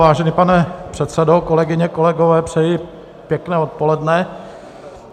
Vážený pane předsedo, kolegyně, kolegové, přeji pěkné odpoledne.